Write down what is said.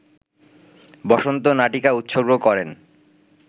বসন্ত নাটিকা উৎসর্গ করেন